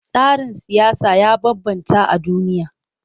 Tsarin siyasa ya bambanta a duniya.